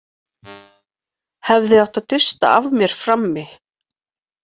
Hefði átt að dusta af mér frammi.